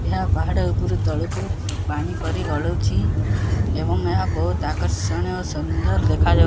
ଏହା ପାହାଡ଼ ଉପୁରୁ ତଳୁକୁ ପାଣି ପରି ଗଳୁଛି ଏବଂ ଏହା ବୋହୁତ୍ ଆକର୍ଷଣୀୟ ସୁନ୍ଦର ଦେଖାଯାଉ--